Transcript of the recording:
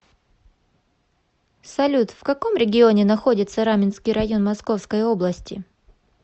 салют в каком регионе находится раменский район московской области